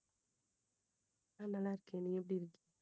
ஆஹ் நல்ல இருக்கேன் நீ எப்படி~